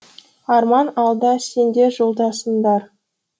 арман алда сендер жолдасыңдар